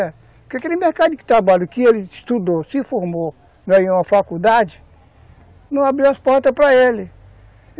Porque aquele mercado de trabalho que ele estudou, se formou, ganhou uma faculdade, não abriu as portas para ele.